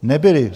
Nebyla.